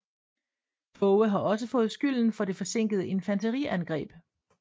Tåge har også fået skylden for det forsinkede infanteriangreb